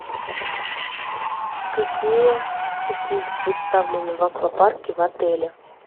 какие услуги представлены в аквапарке в отеле